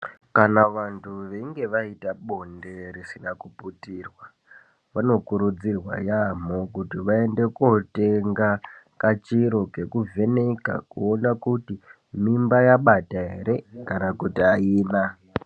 Kana vantu einge aita bonde risina kuputurwa vanokurudzirwa yaamho kuti vaende kootenga kachiro kekuvheneka kuona kuti mimba yabata ere kana kuti aina.